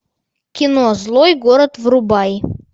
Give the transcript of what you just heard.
кино злой город врубай